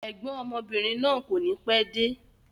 Ẹ̀gbọ́n ọmọbìnrin náà kọ́ni pẹ́ẹ́de